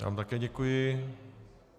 Já vám také děkuji.